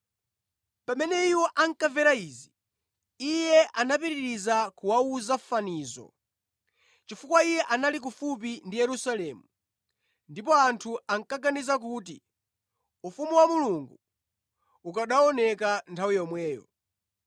Pamene iwo ankamvera izi, Iye anapitiriza kuwawuza fanizo, chifukwa Iye anali kufupi ndi Yerusalemu ndipo anthu ankaganiza kuti ufumu wa Mulungu ukanaoneka nthawi yomweyo.